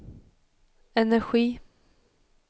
energi